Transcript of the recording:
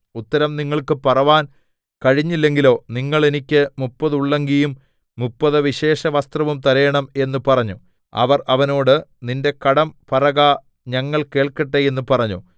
ഉത്തരം നിങ്ങൾക്ക് പറവാൻ കഴിഞ്ഞില്ലെങ്കിലോ നിങ്ങൾ എനിക്ക് മുപ്പത് ഉള്ളങ്കിയും മുപ്പത് വിശേഷവസ്ത്രവും തരേണം എന്ന് പറഞ്ഞു അവർ അവനോട് നിന്റെ കടം പറക ഞങ്ങൾ കേൾക്കട്ടെ എന്ന് പറഞ്ഞു